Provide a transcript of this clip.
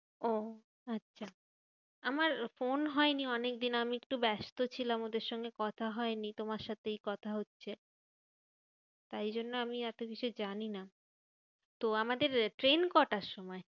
ওহ আচ্ছা, আমার ফোন হয়নি অনেক দিন, আমি একটু ব্যস্ত ছিলাম। ওদের সঙ্গে কথা হয়নি তোমার সাথে এই কথা হচ্ছে। তাই জন্য আমি এতকিছু জানিনা তো আমাদের ট্রেন কটার সময়?